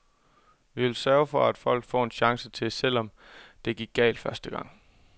Vi vil sørge for at folk får en chance til, også selvom det gik galt første gang.